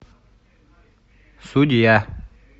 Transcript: судья